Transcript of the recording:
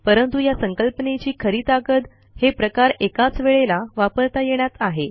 परंतु या संकल्पनेची खरी ताकद हे प्रकार एकाच वेळेला वापरता येण्यात आहे